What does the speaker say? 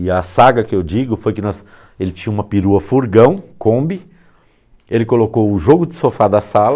E a saga que eu digo foi que ele tinha uma perua-furgão, Kombi, ele colocou o jogo de sofá da sala...